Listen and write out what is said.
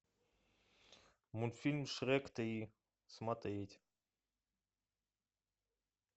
мультфильм шрек три смотреть